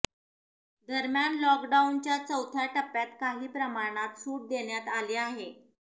दरम्यान लॉकडाऊनच्या चौथ्या टप्प्यात काही प्रमाणात सूट देण्यात आली आहे